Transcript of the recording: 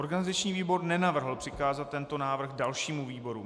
Organizační výbor nenavrhl přikázat tento návrh dalšímu výboru.